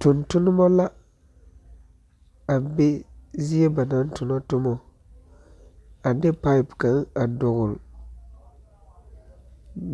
Tontonema la, a be zie ba naŋ tonɔ tomɔ, a de paep kaŋa a dɔgle